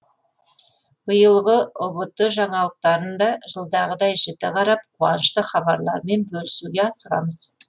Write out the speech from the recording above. биылғы ұбт жаңалықтарын да жылдағыдай жіті қарап қуанышты хабарларымен бөлісуге асығамыз